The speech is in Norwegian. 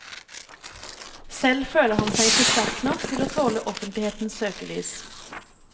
Selv føler han seg ikke sterk nok til å tåle offentlighetens søkelys.